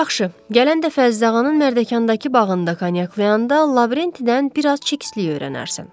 Yaxşı, gələn dəfə Zığanın Mərdəkandakı bağında kanyaklayanda Lavrentidən bir az çikistlik öyrənərsən.